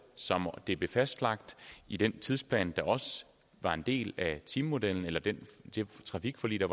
som det blev fastlagt i den tidsplan der også var en del af timemodellen eller det trafikforlig der